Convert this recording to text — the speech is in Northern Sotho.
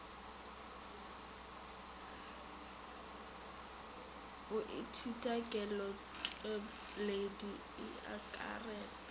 go ithutwa kelotpweledi e akaretpa